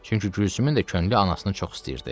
Çünki Gülsümün də könlü anasını çox istəyirdi.